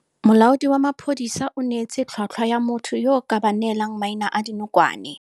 Molaodi wa maphodisa o neetse tlhwatlhwa ya motho yo a ka ba neelang maina a dinokwane.